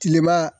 Tilema